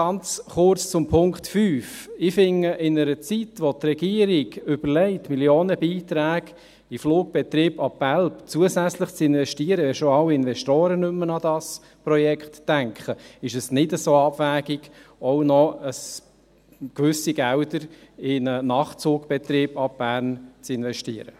Ganz kurz zum Punkt 5: Ich finde, in einer Zeit, wo die Regierung überlegt, zusätzlich Millionenbeiträge in den Flugbetrieb ab Belp zu investieren, wenn schon alle Investoren nicht mehr an das Projekt denken, ist es nicht so abwegig, auch noch gewisse Gelder in einen Nachtzugbetrieb ab Bern zu investieren.